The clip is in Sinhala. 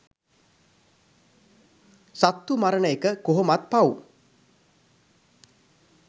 සත්තු මරන එක කොහොමත් පව්.